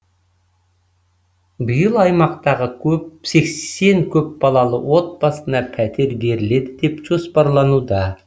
биыл аймақтағы сексен көпбалалы отбасына пәтер беріледі деп жоспарлануда